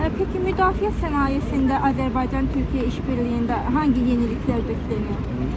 Yə peki müdafiə sənayesində Azərbaycan, Türkiyə işbirliyində hangi yeniliklər gözlənir?